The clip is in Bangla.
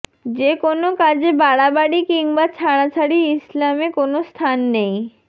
যে কোনা কাজে বাড়াবাড়ি কিংবা ছাড়াছাড়ি ইসলামে কোনো স্থান নেই